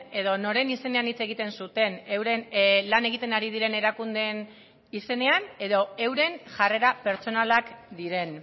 edo noren izenean hitz egiten zuten euren lan egiten ari diren erakundeen izenean edo euren jarrera pertsonalak diren